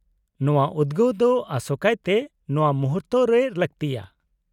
-ᱱᱚᱶᱟ ᱩᱫᱜᱟᱹᱣ ᱫᱚ ᱟᱥᱚᱠᱟᱭᱛᱮ ᱱᱚᱶᱟ ᱢᱩᱦᱩᱨᱛᱮ ᱨᱮ ᱞᱟᱹᱠᱛᱤᱭᱟ ᱾